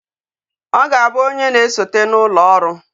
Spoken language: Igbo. O ga abu onye na esote na ulo oru